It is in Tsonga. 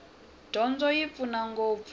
dyondzo yi pfuna ngopfu